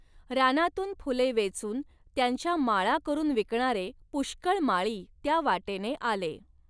रानातून फुले वेचून त्यांच्या माळा करुन विकणारे पुष्कळ माळी त्या वाटेने आले.